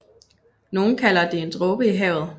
Nogen kalder det en dråbe i havet